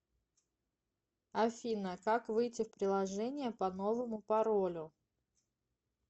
афина как выйти в приложение по новому паролю